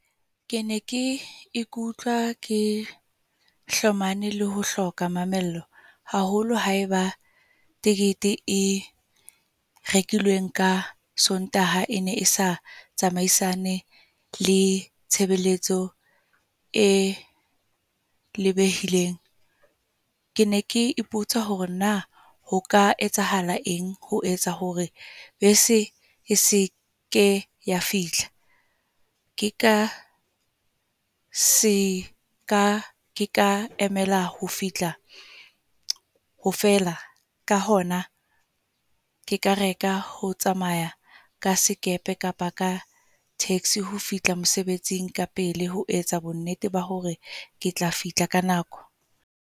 Ke ne ke ikutlwa ke, hlomane le ho hloka mamello. Haholo haeba tekete e rekilweng ka Sontaha e ne e sa tsamaisane le tshebeletso e lebehileng. Ke ne ke ipotsa hore na ho ka etsahala eng, ho etsa hore bese e seke ya fihla. Ke ka seka ka emela ho fihla ho fela, ka hona ke ka reka ho tsamaya ka sekepe kapa ka taxi ho fihla mosebetsing ka pele. Ho etsa bonnete ba hore ke tla fihla ka nako.